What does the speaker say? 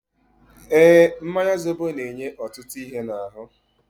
Eeǃ Mmanya zobo na-enye ọtụtụ ihe n'ahụ.